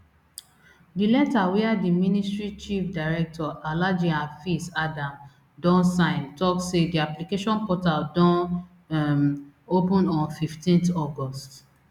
di letter wia di ministry chief director alhaji hafiz adam don sign tok say di application portal don um open on fifteen august